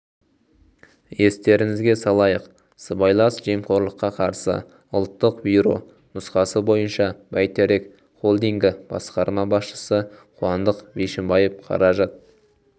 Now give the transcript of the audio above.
естеріңізге салайық сыбайлас жемқорлыққа қарсы ұлттық бюро нұсқасы бойынша бәйтерек холдингі басқарма басшысы қуандық бишімбаев қаражат